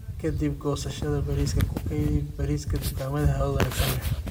"Ka dib goosashada bariiska, ku kaydi bariiska dukaamada hawo wanaagsan leh."